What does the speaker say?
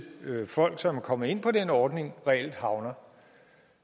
folk som kommer ind på den ordning reelt havner